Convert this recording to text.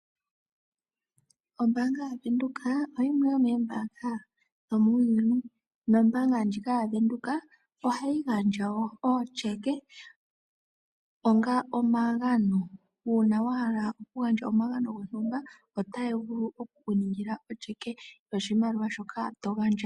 Ombaanga yaVenduka oyimwe yomoombaanga dhomuuyuni nombaanga ndjika yaVenduka ohayi gandja wo ootyeke onga omagano. Uuna wa hala okugandja omagano gontumba otaya vulu oku ku ningila otyeke yoshimaliwa shoka to gandja.